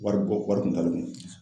Wari bɔ wari kun t'ale kun.